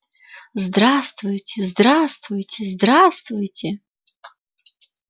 здравствуйте здравствуйте здравствуйте